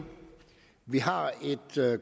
vi har et